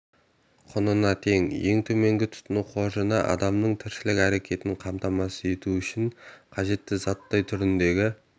құнына тең ең төменгі тұтыну қоржыны адамның тіршілік әрекетін қамтамасыз ету үшін қажетті заттай түріндегі